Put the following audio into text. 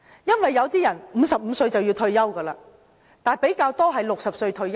因為有些人55歲便要退休，但比較多是60歲退休的。